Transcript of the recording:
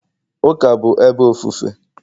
Ụka bụ ebe ofufe